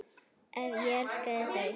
Ég elskaði þau.